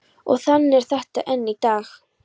Og þannig er þetta enn í dag.